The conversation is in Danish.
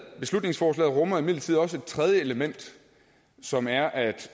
beslutningsforslaget rummer imidlertid også et tredje element som er at